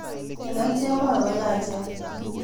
Ngalek chemwoe koyachen